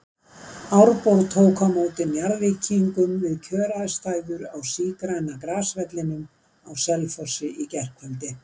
Árborg tók á móti Njarðvíkingum við kjöraðstæður á sígræna grasvellinum á Selfossi í gærkvöldi.